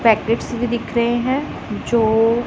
packets भी दिख रहे हैं जो--